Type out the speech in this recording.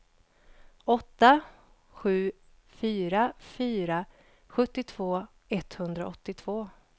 åtta sju fyra fyra sjuttiotvå etthundraåttiotvå